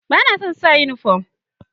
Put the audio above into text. Ba na son sa uniform.